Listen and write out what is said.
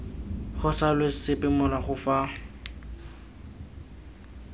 go salwe sepe morago fa